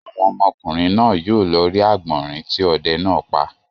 Àwọn ọmọkùnrin náà yóò lọ rí àgbọ̀rìn tí ọdẹ náà pa.